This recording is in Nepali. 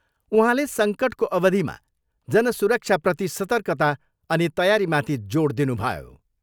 उहाँले सङ्कटको अवधिमा जन सुरक्षाप्रति सर्तकता अनि तयारीमाथि जोड दिनुभयो।